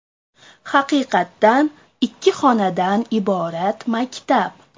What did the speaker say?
Haqiqatan ikki xonadan iborat maktab.